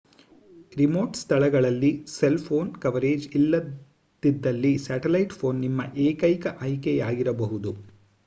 remote ಸ್ಥಳಗಳಲ್ಲಿ cell phone coverage ಇಲ್ಲದಿದ್ದಲ್ಲಿ satellite phone ನಿಮ್ಮ ಏಕೈಕ ಆಯ್ಕೆಯಾಗಿರಬಹುದು